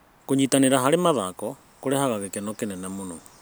Kũnyitanĩra harĩ mathako kũrehaga gĩkeno kĩnene.